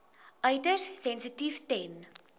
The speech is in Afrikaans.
uiters sensitief ten